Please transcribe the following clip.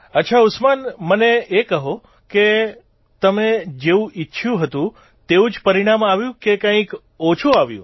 અચ્છા ઉસ્માન મને એ કહો કે તમે જેવું ઇચ્છયું હતું તેવું જ પરિણામ આવ્યું કે કંઇક ઓછું આવ્યું